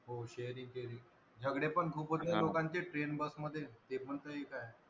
हो sharing केली झगडे पण खूप होत आहे. लोकांचे train bus मध्ये ते पण एक आहे.